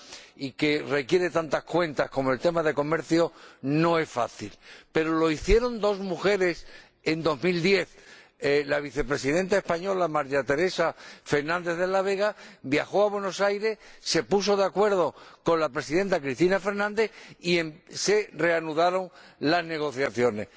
y que requiere tantas cuentas, como el tema del comercio, no es fácil, pero lo hicieron dos mujeres en 2010 la Vicepresidenta española, María Teresa Fernández de la Vega, viajó a Buenos Aires, se puso de acuerdo con la Presidenta Cristina Fernández y se reanudaron las negociaciones.